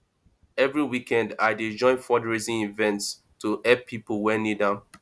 every weekend i dey join fundraising events to help people wey need am